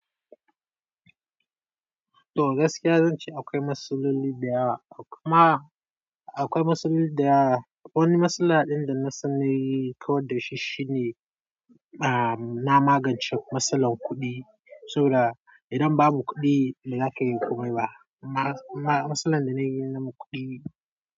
To gaskiya zan ce akwai matsaloli da yawa. Kuma akwai matsaloli da wani matsala ɗin da na sani kawar da shi shine, a, na magance matsalar kuɗi. Saboda idan babu kuɗi ba za ka yi komai ba. Ma-ma matsalar da na yi na mu kuɗi.